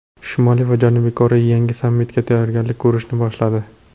Shimoliy va Janubiy Koreya yangi sammitga tayyorgarlik ko‘rishni boshladi.